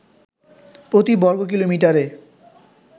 প্রতি বর্গকিলোমিটারে